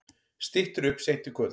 Styttir upp seint í kvöld